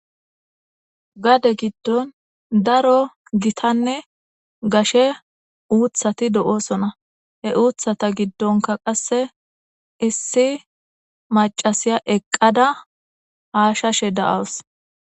gade giddon daro gitanne gashe uuthati do'oosona he uuthata giddonka qasse issi macasiya eqqada haashashe da'aws